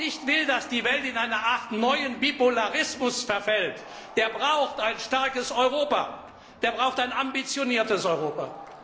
Wer nicht will, dass die Welt in eine Art neuen Bipolarismus verfällt, der braucht ein starkes Europa, der braucht ein ambitioniertes Europa.